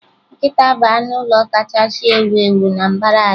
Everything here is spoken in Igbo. Nkịta bụ anụ ụlọ kachasị ewu ewu na mbara ala